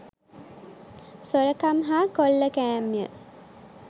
සොරකම් හා කොල්ලකෑම්ය